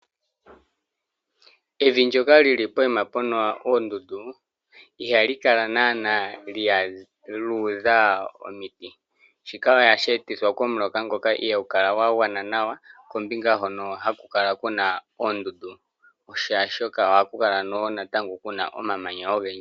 Evi ndyoka lili poyima puna oondundu ihali kala Nana lyuudha omiti. Shika ohasheetithwa komuloka ngoka ihaagukala gwagwana nawa. Kombinga hono hakukala kuna oondundu shaashi ohakukala kuna omamanya ogendji.